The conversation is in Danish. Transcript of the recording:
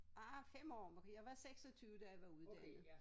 Ah 5 år Maria var 26 da jeg var uddannet